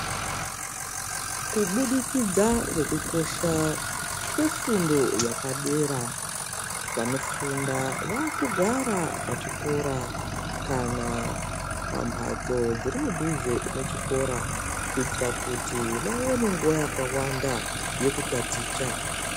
Kubudikidza ngekukosha kwefundo yapadera vanofunda vakugara pachikora kana pambatso dziri muduze mechikora kuitira kuti vaone nguwa yakawanda yekutaticha.